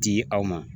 Di aw ma